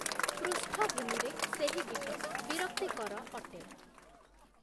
ପୃଷ୍ଠଭୂମିରେ ସେହି ଗୀତ ବିରକ୍ତିକର ଅଟେ